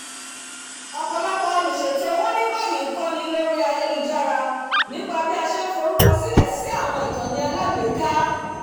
ọ̀pọ̀lọpọ̀ olùṣètò owó ní báyìí ń kọ́ni lórí ayélujára nípa bí a ṣe ń forúkọsílẹ̀ sí àwọn ìkànnì alágbèéká